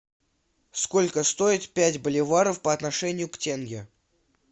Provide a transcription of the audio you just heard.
сколько стоит пять боливаров по отношению к тенге